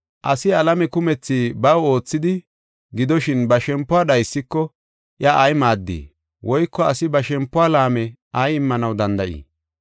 Asi alame kumethi baw oothidi, gidoshin ba shempuwa dhaysiko iya ay maaddii? Woyko asi ba shempuwa laame ay immanaw danda7ii?